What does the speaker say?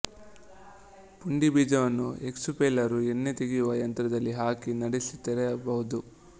ಪುಂಡಿ ಬೀಜವನ್ನು ಎಕ್ಸುಪೆಲ್ಲರುಎಣ್ಣೆ ತೆಗೆಯುವ ಯಂತ್ರದಲ್ಲಿ ಹಾಕಿ ನಡಿಸಿ ತೆಗೆಯಬಹುದು